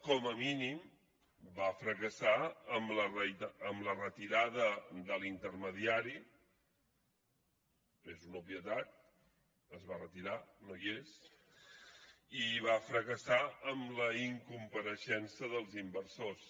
com a mínim va fracassar amb la retirada de l’intermediari és una obvietat es va retirar no hi és i va fracassar amb la incompareixença dels inversors